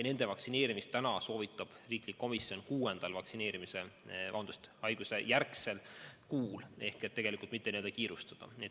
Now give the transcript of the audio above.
Nende vaktsineerimist soovitab riiklik komisjon kuuendal haigusjärgsel kuul, tegelikult ei maksa kiirustada.